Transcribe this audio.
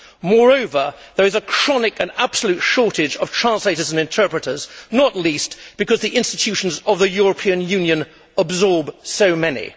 Moreover, there is a chronic and absolute shortage of translators and interpreters, not least because the institutions of the European Union absorb so many.